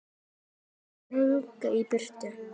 Þetta er langt í burtu.